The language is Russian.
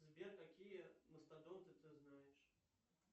сбер какие мастодонты ты знаешь